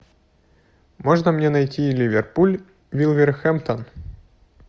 можно мне найти ливерпуль вулверхэмптон